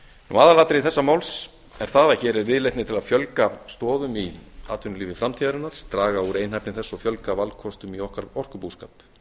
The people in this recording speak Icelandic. sjávarfallavirkjun aðalatriði þessa máls er það að hér er viðleitni til að fjölga stoðum í atvinnulífi framtíðarinnar draga úr einhæfni þess og fjölga valkostum í okkar orkubúskap